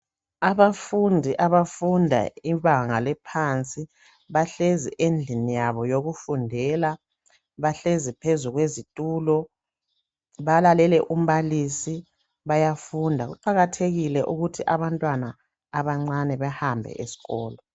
Abafundi abafunda ibanga eliphansi bahlezi endlini yabo yokufundela bahlezi phezu kwezitulo balalele umbalisi bayafunda kuqakathekile ukuthi abafundi abancane behambe eskolo beyefunda